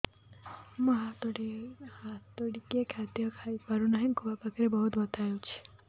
ମୁ ହାତ ଟେକି ଖାଦ୍ୟ ଖାଇପାରୁନାହିଁ ଖୁଆ ପାଖରେ ବହୁତ ବଥା ହଉଚି